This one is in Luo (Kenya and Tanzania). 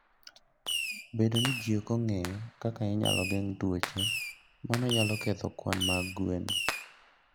Bedo ni ji ok ong'eyo kaka inyalo geng' tuoche, mano nyalo ketho kwan mag gwen.